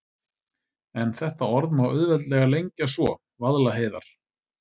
En þetta orð má auðveldlega lengja svo: Vaðlaheiðar.